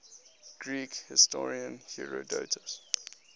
greek historian herodotus